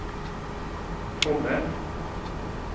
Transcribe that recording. Fonnes